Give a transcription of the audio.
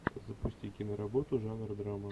запусти киноработу жанра драма